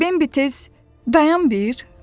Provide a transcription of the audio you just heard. Bimbi tez dayan bir dedi.